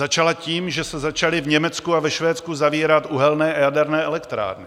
Začala tím, že se začaly v Německu a ve Švédsku zavírat uhelné a jaderné elektrárny.